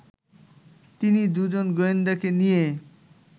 তিনি দুজন গোয়েন্দাকে নিয়ে